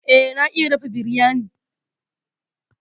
Eh, na iya dafa biryani.